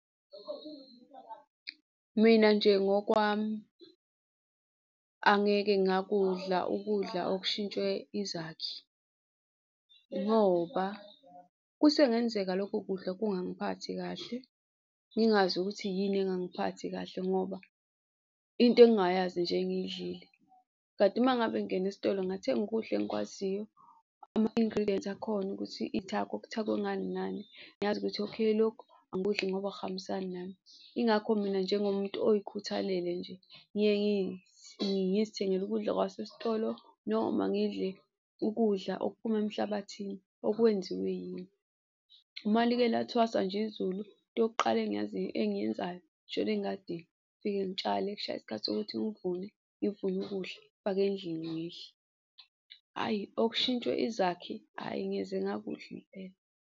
Mina nje ngokwami, angeke ngakudla ukudla okushintshwe izakhi ngoba kusengenzeka lokho kudla kungangiphatha kahle, ngingazi ukuthi yini engangimphathi kahle ngoba into engingayazi nje engiyidlile. Kanti uma ngabe ngingena esitolo ngathenga ukudla engikwaziyo, ama-ingredients akhona ukuthi iy'thako, kuthakwe ngani nani, ngiyazi ukuthi okay, lokhu angikudli ngoba akuhambisani nami. Ingakho mina njengomuntu oyikhuthalele nje, ngiye ngizithengele ukudla kwasesitolo noma ngidle ukudla okuphuma emhlabathini okwenziwe yimi. Uma like lathwasa nje izulu into yokuqala engiyenzayo ngishona engadini ngifike ngitshale kushaya isikhathi sokuthi ngivune, ngivune okudla ngifake endlini ngidle. Hhayi okushintshwe izakhi, hhayi ngeze ngakudla impela.